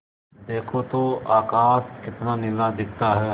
देखो तो आकाश कितना नीला दिखता है